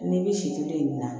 N'i bi si tobi yen na